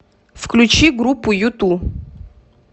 включи группу юту